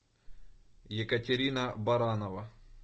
екатерина баранова